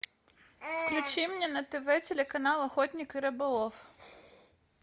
включи мне на тв телеканал охотник и рыболов